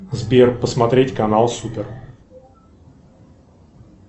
сбер посмотреть канал супер